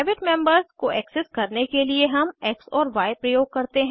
private members को access करने के लिए हम एक्स और य प्रयोग करते हैं